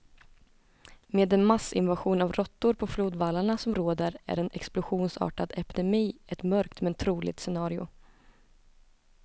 Med den massinvasion av råttor på flodvallarna som råder är en explosionsartad epidemi ett mörkt, men troligt scenario.